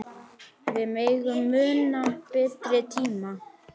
Við megum muna betri tíma.